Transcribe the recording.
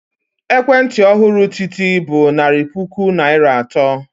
Ekwentị ọhụrụ Titi bụ narị puku naira atọ.